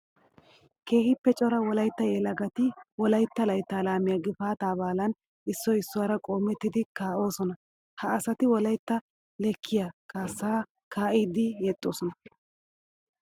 Keehippe cora wolaytta yelagatti wolaytta laytta laamiya gifata baallan issoy issuwara qoomettiddi kaa'osonna. Ha asatti wolaytta leekiya kaassa kaa'iddi yexxosonna.